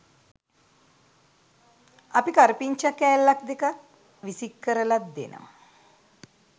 අපි කරපිංචා කෑල්ලක් දෙකක් විසික් කරලත් දෙනවා